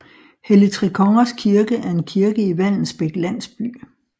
Helligtrekongers Kirke er en kirke i Vallensbæk Landsby